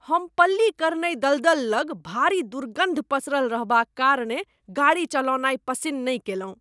हम पल्लीकरनई दलदल लग भारी दुर्गन्ध पसरल रहबाक कारणेँ गाड़ी चलौनाइ पसिन्न नहि कएलहुँ।